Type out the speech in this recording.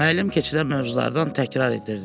Müəllim keçirilən mövzulardan təkrar etdirirdi.